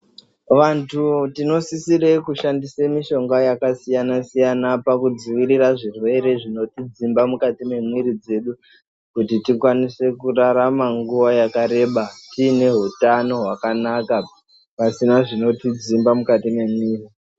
Vantu tinosisire kushandise mushonga yakasiyana-siyana pakudziirira zvirwere zvinotidzimba mukati mwemwiri dzedu ,kuti tikasire kurarama kwenguva yakareba, tiine hutano hwakanaka pasina zvinotidzimba mukati mwemwiri.